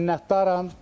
Minnətdaram.